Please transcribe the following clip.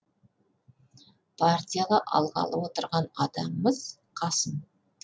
партияға алғалы отырған адамымыз қасым